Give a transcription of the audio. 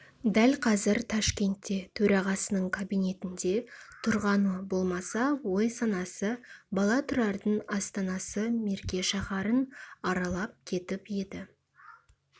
дәл қазір ташкентте төрағасының кабинетінде тұрғаны болмаса ой-санасы бала тұрардың астанасы мерке шаһарын аралап кетіп еді